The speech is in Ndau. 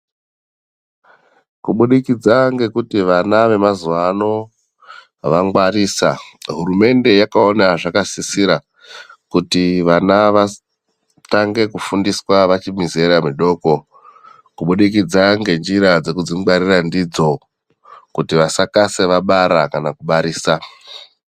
Kubudikidza ngekuti vana vemazuwa ano vangwarisa, hurumende yakaona zvakasisira kuti vana vatange kufundiswa vachiri muzera midoko kubudikidza ngenjira dzekudzingwarira ndidzo kuti vasakasa vabara kana kubarisa.